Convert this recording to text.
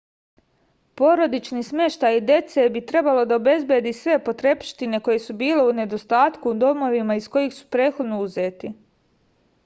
porodični smeštaj dece bi trebalo da obezbedi sve potrepštine koje su bile u nedostatku u domovima iz kojih su prethodno uzeti